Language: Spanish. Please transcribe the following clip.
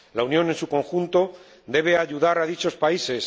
La Unión en su conjunto debe ayudar a dichos países.